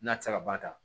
N'a tɛ se ka ban ka